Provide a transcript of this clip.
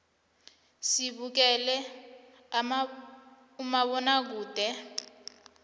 sibukela umabonakude